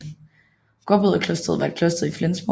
Gråbrødreklosteret var et kloster i Flensborg